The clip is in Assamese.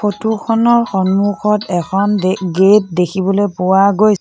ফটো খনৰ সন্মুখত এখন গে গেট দেখিবলৈ পোৱা গৈ --